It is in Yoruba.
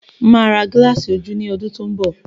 Máa ra gilasi ojú ní ọdún tó n bọ